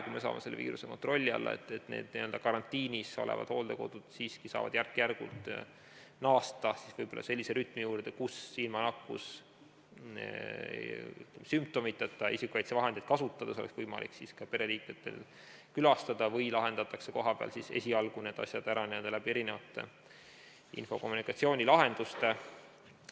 Kui me saame selle viiruse kontrolli alla, siis karantiinis olevad hooldekodud siiski saavad järk-järgult naasta sellise rütmi juurde, kus ilma sümptomiteta isikukaitsevahendeid kasutavatel inimestel oleks võimalik pereliikmeid külastada või lahendatakse kohapeal esialgu need asjad ära erinevate infokommunikatsioonilahendustega.